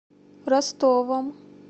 ростовом